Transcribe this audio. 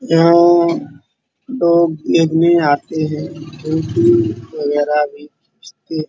यहाँ लोग देखने आते हैं। पेंटिंग्स वगेरा भी बेचते हैं।